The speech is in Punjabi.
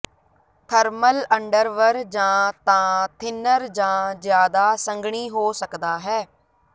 ਥਰਮਲ ਅੰਡਰਵਰ ਜਾਂ ਤਾਂ ਥਿਨਰ ਜਾਂ ਜ਼ਿਆਦਾ ਸੰਘਣੀ ਹੋ ਸਕਦਾ ਹੈ